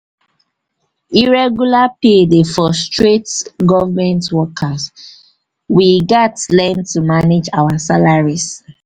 irregular pay dey frustrate government workers; frustrate government workers; we gats learn to manage our salaries.